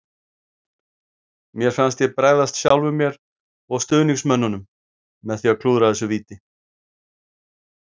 Mér fannst ég bregðast sjálfum mér og stuðningsmönnunum með því að klúðra þessu víti.